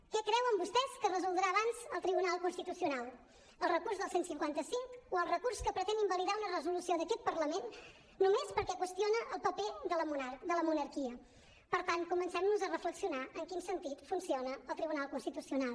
què creuen vostès que resoldrà abans el tribunal constitucional el recurs del cent i cinquanta cinc o el recurs que pretén invalidar una resolució d’aquest parlament només perquè qüestiona el paper de la monarquia per tant comencem nos a reflexionar en quin sentit funciona el tribunal constitucional